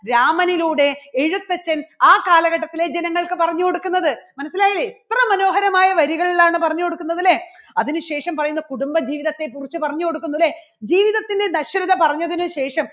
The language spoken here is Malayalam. രാമനിലൂടെ എഴുത്തച്ഛൻ ആ കാലഘട്ടത്തിലെ ജനങ്ങൾക്ക് പറഞ്ഞു കൊടുക്കുന്നത്. മനസ്സിലായില്ലേ എത്ര മനോഹരമായ വരികളിലാണ് പറഞ്ഞു കൊടുക്കുന്നത് അല്ലേ? അതിനുശേഷം പറയുന്നു കുടുംബജീവിതത്തെക്കുറിച്ച് പറഞ്ഞുകൊടുക്കുന്നു അല്ലേ? ജീവിതത്തിലെ നശ്വരത പറഞ്ഞതിനുശേഷം